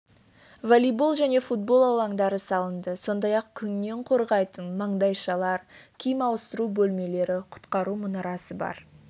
волейбол мен футбол алаңдары салынды сондай-ақ күннен қорғайтын маңдайшалар киім ауыстыру бөлмелері құтқару мұнарасы бар